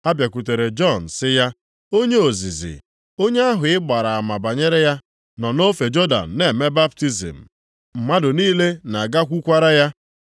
Ha bịakwutere Jọn sị ya, “Onye ozizi, onye ahụ ị gbara ama banyere ya nọ nʼofe Jọdan na-eme baptizim, mmadụ niile na-agakwukwara ya.”